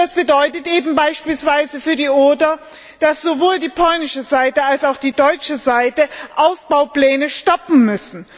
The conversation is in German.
Das bedeutet beispielsweise für die Oder, dass sowohl die polnische Seite als auch die deutsche Seite Ausbaupläne stoppen muss.